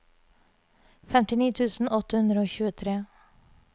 femtini tusen åtte hundre og tjuetre